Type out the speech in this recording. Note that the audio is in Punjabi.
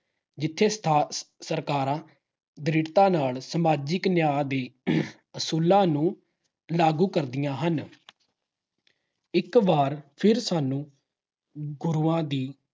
ਜਿੱਥੇ ਸਥ ਅਹ ਸਰਕਾਰਾਂ ਦ੍ਰਿੜਤਾ ਨਾਲ ਸਮਾਜਿਕ ਨਿਆਂ ਦੀ ਆਹ ਅਸੂਲਾਂ ਨੂੰ ਲਾਗੂ ਕਰਦੀਆਂ ਹਨ। ਇਕ ਵਾਰ ਫਿਰ ਸਾਨੂੰ ਗੁਰੂਆਂ ਦੀ